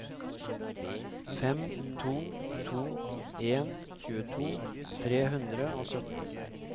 fem to to en tjueto tre hundre og sytten